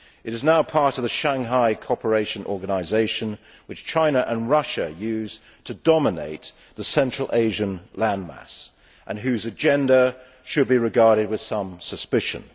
It is now part of the Shanghai Cooperation Organisation, which China and Russia use to dominate the Central Asian landmass and whose agenda should be regarded with some suspicion.